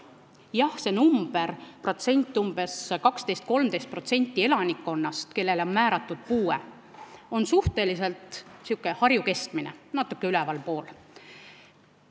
Jah, nende inimeste protsent, kellele on määratud puue, 12–13% elanikkonnast, on suhteliselt Harju keskmine, natuke ülevalpool sellest.